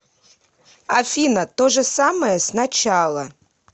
афина то же самое с начала